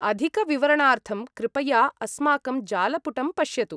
अधिकविवरणार्थं कृपया अस्माकं जालपुटं पश्यतु।